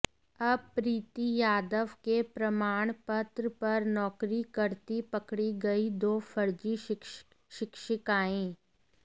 अब प्रीती यादव के प्रमाणपत्र पर नौकरी करती पकड़ी गईं दो फर्जी शिक्षिकाएं